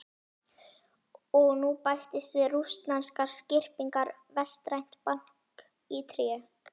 Og nú bætist við rússneskar skyrpingar vestrænt bank í tré.